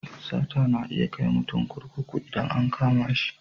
Sata na iya kai mutum kurkuku idan an kama shi.